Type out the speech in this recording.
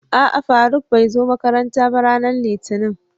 A'a Faruk bai zo makaranta ba, Ranar litinin.